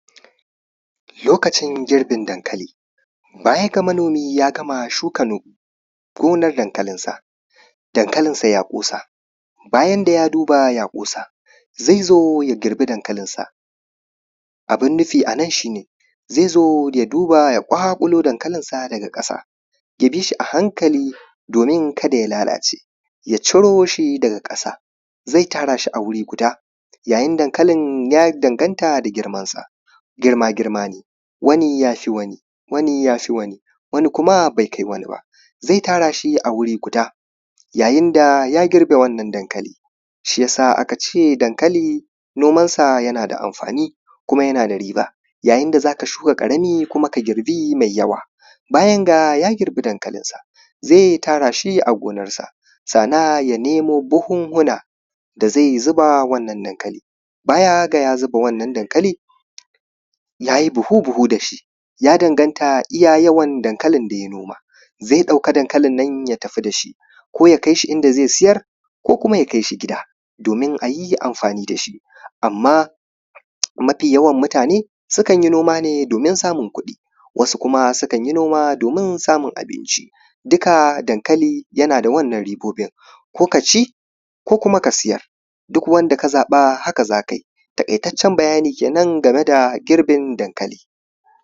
lokacin girbin dankali bayan ga manomi ya gama shuka gonar dankalin sa dankalin sa ya ƙosa bayan da ya duba ya ƙosa zai zo ya girbi dankalinsa abun nufi a nan shi ne zai zo ya duba ya ƙwaƙulo dankalinsa daga ƙasa ya bi shi a hankali domin kada ya lalace ya ciro shi daga ƙasa zai tara shi a guri guda yayin dankalin ya danganta da girman sa girma girma ne wani ya fi wani wani ya fi wani wani kuma bai kai wani ba zai tara shi a wuri guda yayin da ya girbe wannan dankali shi ya sa aka ce dankali nomansa yana da amfani kuma yana da riba yayin da za ka shuka ƙarami ka girbi mai yawa bayan ga ya girbi dankalinsa zai tara shi a gonansa sannan ya nemo buhunhuna da zai zuba wannan dankali baya ga ya zuba wannan dankali ya yi buhu buhu da shi ya danganta da iya yawan dankali da ya noma zai ɗauki dankalin ya tafi da shi ko ya kai shi inda zai sayar ko ya kai shi gida domin a yi amfani da shi amma mafi yawan mutane sukan yi noma ne domin samun kuɗi wasu kuma sukan yi noma domin samun abinci duka dankali yana da wannan ribobin ko ka ci ko ka sayar duk wanda ka zaɓa haka za ka yi takaitatcen bayani kenan a kan girbin dankali